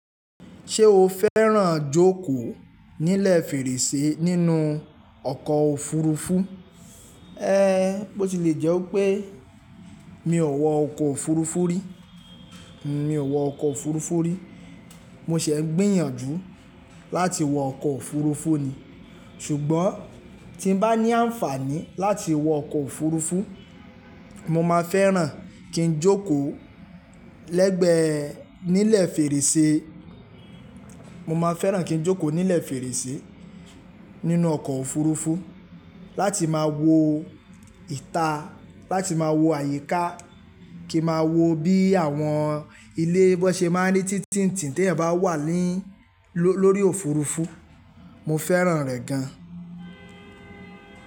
Ṣé o fẹ́ràn jókòó nílẹ̀ fèrèsé nínú ọkọ̀ òfurufú? Ẹ, bó ti lè jẹ́ pé mi ò wọ ọkọ̀ òfurufú rí, mi ò wọ ọkọ̀ òfurufú rí. Mo ṣẹ̀ n gbìyànjú láti wọ ọkọ̀ òfurufú ni. Ṣùgbọ́n tí n bá ní àǹfààní láti wọ ọkọ̀ òfurufú, mo máa fẹ́ràn kí n jókòó lẹ́gbẹ́ nílẹ̀ fèrèsé, mo máa fẹ́ràn kí n jókòó nílẹ̀ fèrèsé nínú ọkọ̀ òfurufú láti máa wo ìta, láti máa wo àyíká, kí n máa wo bí àwọn ilé bọ́ ṣe máa ń ní títìntì̀n tí ẹ̀ bá wà lórí òfurufú. Mo fẹ́ràn rẹ̀ gan.